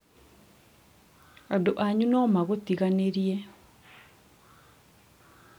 andũ anyu nomagũtiganĩrie